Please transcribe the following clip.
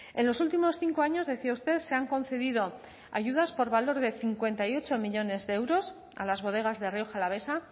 en los últimos cinco años decía usted se han concedido ayudas por valor de cincuenta y ocho millónes de euros a las bodegas de rioja alavesa